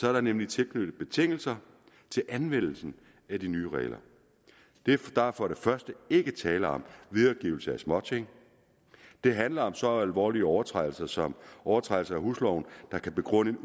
er der nemlig tilknyttet betingelser til anvendelsen af de nye regler der er for det første ikke tale om videregivelse af småting det handler om så alvorlige overtrædelser som overtrædelse af husloven der kan begrunde at